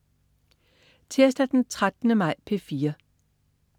Tirsdag den 13. maj - P4: